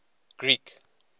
greek